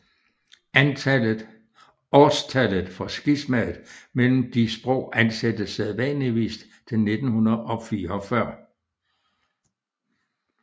Årstallet for skismaet mellem de sprog ansættes sædvanligvis til 1944